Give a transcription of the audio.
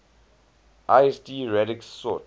lsd radix sort